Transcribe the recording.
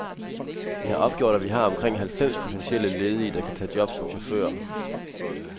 Vi har opgjort, at vi har omkring halvfems potentielle ledige, der kan tage job som chauffører.